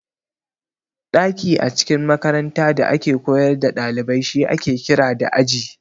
Daki a cikin makaranta da ake koyar da dalibai shi ake kira da Aji.